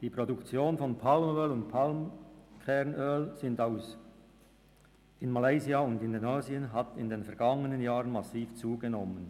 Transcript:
«Die Produktion von Palmöl und Palmkernöl in Malaysia und Indonesien hat in den vergangenen Jahren massiv zugenommen.